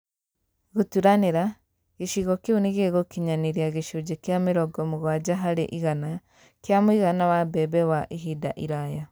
Gũturanĩra, gĩcigo kĩu nĩgĩgũkinyanĩria gĩcunjĩ kĩa mĩrongo mũgwanja harĩ igana kĩa mũigana wa mbembe wa ihinda iraya